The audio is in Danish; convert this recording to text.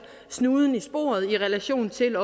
snuden i sporet i relation til